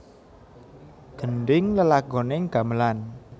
Gendhing lelagoning gamelan